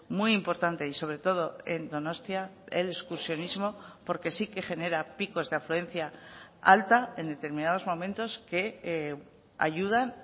muy importante y sobre todo en donostia el excursionismo porque sí que genera picos de afluencia alta en determinados momentos que ayudan